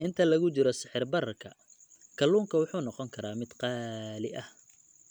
Inta lagu jiro sicir-bararka, kalluunka wuxuu noqon karaa mid qaali ah.